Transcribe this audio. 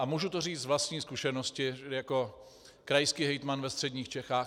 A můžu to říct z vlastní zkušenosti jako krajský hejtman ve středních Čechách.